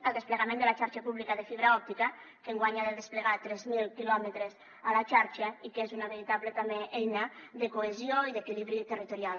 el desplegament de la xarxa pública de fibra òptica que enguany ha de desplegar tres mil quilòmetres a la xarxa i que és una veritable també eina de cohesió i d’equilibri territorial